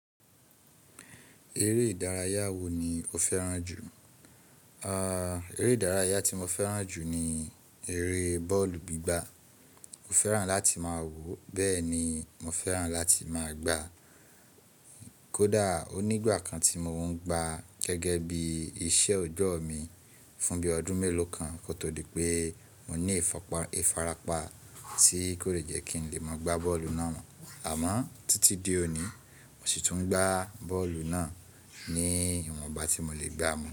Eré ìdárayá wo ni o fẹ́ràn jù? Eré ìdárayá tí mo fẹ́ràn jù ni eré bọ́ọ̀lù gbígbá. Mo fẹ́ràn láti máa wọ̀, bẹ́ẹ̀ ni mo fẹ́ràn láti máa gbá. Kódà onígbà kan tí mo ń gbá gẹ́gẹ́ bí iṣẹ́ ọjoọ́ mi fún bí i ọdún mélòó kan kó tó di pé mo ní ìfarapa tí kò dè jẹ́ kí n lè máa gbá bọ́ọ̀lù náà mọ́. Àmọ́ títí di òní mo sì tún ń gbá bọ́ọ̀lù náà ní ìwọ̀nba tí mo le gbá mọ́